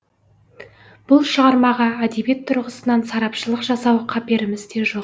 бұл шығармаға әдебиет тұрғысынан сарапшылық жасау қаперімізде жоқ